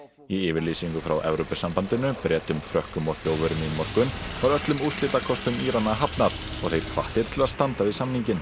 í yfirlýsingu frá Evrópusambandinu Bretum Frökkum og Þjóðverjum í morgun var öllum úrslitakostum Írana hafnað og þeir hvattir til að standa við samninginn